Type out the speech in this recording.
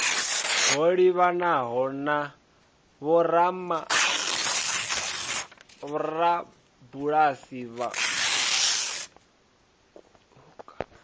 ho livhanaho na vhorabulasi vhauku